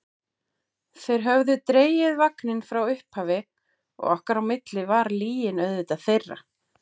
Þeir höfðu dregið vagninn frá upphafi og okkar á milli var lygin auðvitað þeirra.